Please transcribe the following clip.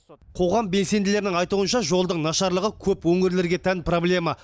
қоғам белсенділерінің айтуынша жолдың нашарлығы көп өңірлерге тән проблема